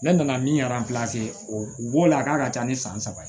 Ne nana min o b'o la a k'a ka ca ni san saba ye